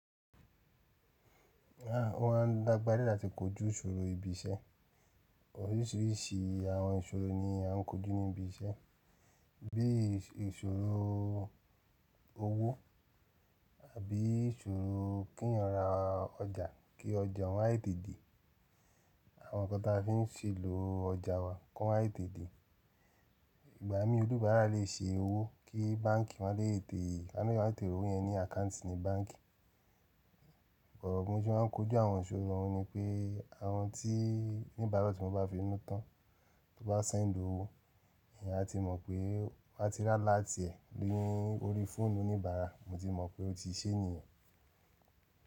À, ó maá n lágbára díẹ̀ láti kojú ìṣòro ibi iṣẹ́. Oríṣiríṣi àwọn ìṣòro ni a ń kojú ní ibi iṣẹ́, bí ìṣòro owó àbí ìṣòro kí èèyàn ra ọjà kí ọjà ó má tètè dé, àwọn nǹkan tí a fi ń ṣe èlò ọjà wa kó má tètè dé. Ìgbà míì oníbárà lè ṣe owó kí báǹkì má lè tètè, kí wón ma tètè rówó yẹn ní àkáǹtì ní báǹkì. But bí mo se máa ń kojú àwọn ìṣòro ọ̀ún ni pé àwọn tí oníbárà tí mo bá fi inú tán, tí wọ́n bá sẹ́ndì owó, èèyàn á tí mọ̀ pé ti a bá ti rí alert ẹ̀ lórí fóònù oníbárà, mo ti mọ̀ pé ó ti ṣé nìyẹn.